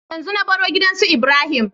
Yanzu na baro gidan su ibrahim